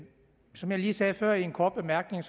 som jeg lige sagde før i en kort bemærkning